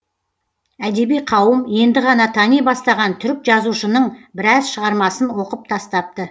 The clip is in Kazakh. әдеби қауым енді ғана тани бастаған түрік жазушының біраз шығармасын оқып тастапты